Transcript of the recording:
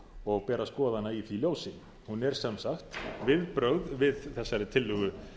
og ber að skoða hana í því ljósi hún er sem sagt viðbrögð við þessari tillögu